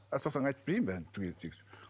мен айтып берейін бәрін түгелін тегіс